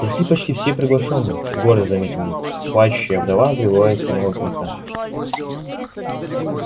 пришли почти все приглашённые гордо заметил ник плачущая вдова прибыла из самого кента